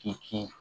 K'i kɛ